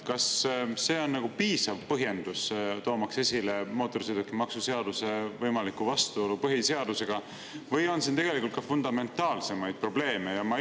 Kas see on piisav põhjendus, toomaks esile mootorsõidukimaksu seaduse võimalikku vastuolu põhiseadusega, või on siin tegelikult ka fundamentaalsemaid probleeme?